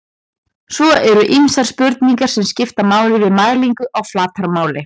svo eru ýmsar spurningar sem skipta máli við mælingu á flatarmáli